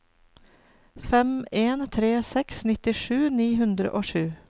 fem en tre seks nittisju ni hundre og sju